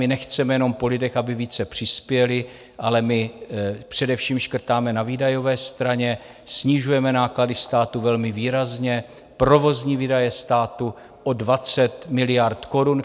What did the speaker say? My nechceme jenom po lidech, aby více přispěli, ale my především škrtáme na výdajové straně, snižujeme náklady státu velmi výrazně, provozní výdaje státu o 20 miliard korun.